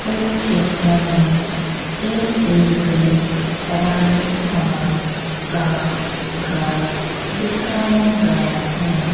इस चित्र में ए_सी_पी राजस्थान का घर दिखाया गया है।